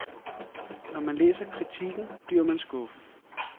Når man læser kritikken, bliver man skuffet.